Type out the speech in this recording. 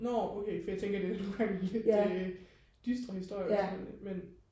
nå okay for jeg tænker det er nogle gange lidt øh dystre historier selvfølgelig men